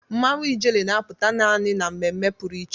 Mmanwụ ijele na-apụta naanị na mmemme pụrụ iche.